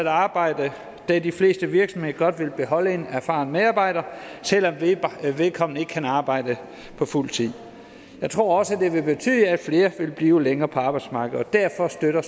at arbejde da de fleste virksomheder godt vil beholde en erfaren medarbejder selv om vedkommende ikke kan arbejde på fuld tid jeg tror også det vil betyde at flere vil blive længere på arbejdsmarkedet og derfor støtter